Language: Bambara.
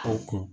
O kun